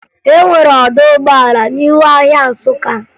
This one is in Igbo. E nwere ọdọ ụgbọala n'ihu ahịa Nsụka